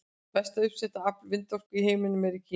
Mesta uppsetta afl vindorku í heiminum er í Kína.